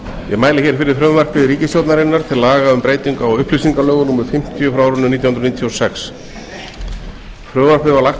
ég mæli hér fyrir frumvarpi ríkisstjórnarinnar til laga um breytingu á upplýsingalögum númer fimmtíu nítján hundruð níutíu og sex frumvarpið var lagt